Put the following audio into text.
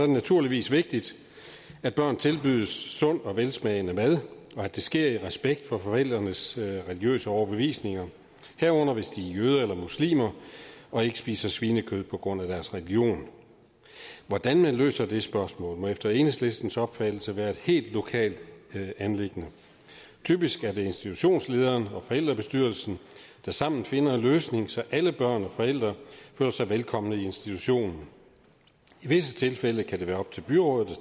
naturligvis vigtigt at børn tilbydes sund og velsmagende mad og at det sker i respekt for forældrenes religiøse overbevisning herunder hvis de er jøder eller muslimer og ikke spiser svinekød på grund af deres religion hvordan man løser det spørgsmål må efter enhedslistens opfattelse være et helt lokalt anliggende typisk er det institutionslederen og forældrebestyrelsen der sammen finder en løsning så alle børn og forældre føler sig velkommen i institutionen i visse tilfælde kan det være op til byrådet at